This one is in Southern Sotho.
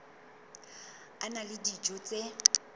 a na le dijo tse